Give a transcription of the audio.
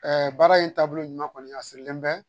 baara in taabolo ɲuman kɔni a sirilen bɛ